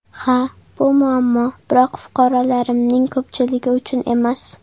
Ha, bu muammo, biroq fuqarolarimining ko‘pchiligi uchun emas.